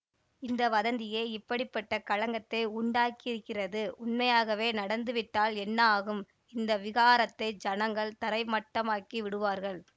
இந்த வதந்தியே இப்படி பட்ட கலக்கத்தை உண்டாக்கியிருக்கிறது உண்மையாகவே நடந்துவிட்டால் என்ன ஆகும் இந்த விஹாரத்தை ஜனங்கள் தரை மட்டமாக்கி விடுவார்கள்